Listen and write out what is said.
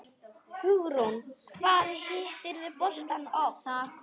Hugrún: Hvað hittirðu boltann oft?